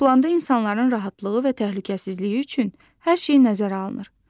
Planda insanların rahatlığı və təhlükəsizliyi üçün hər şey nəzərə alınır.